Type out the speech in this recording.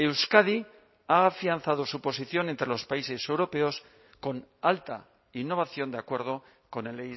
euskadi ha afianzado su posición entre los países europeos con alta innovación de acuerdo con el